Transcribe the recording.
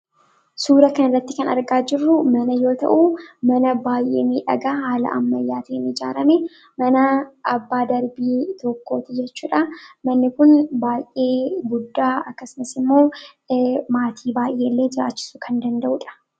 Suuraa kanarratti kan argaa jirru mana yoo ta'u, mana baay'ee miidhagaa haala ammayyaatiin ijaarame, mana abbaa darbii tokkoo ti jechuu dha. Manni kun baay'ee guddaa akkasumas immoo maatii baay'ee illee jiraachisuu kan danda'u dha.